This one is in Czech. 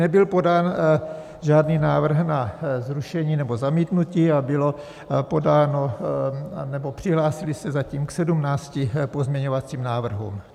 Nebyl podán žádný návrh na zrušení nebo zamítnutí a bylo podáno nebo přihlásili se zatím k 17 pozměňovacím návrhům.